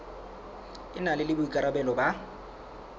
e na le boikarabelo ba